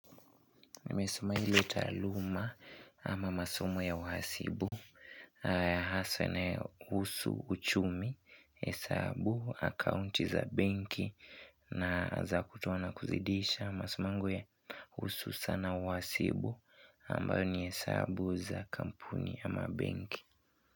Nimesomea ile taaluma ama masomo ya uhasibu, haswa yanayohusu uchumi, hesabu, akaunti za benki na za kutoa na kuzidisha masomo yangu ya kuhusu sanaa uhasibu ambayo ni hesabu za kampuni ama benki.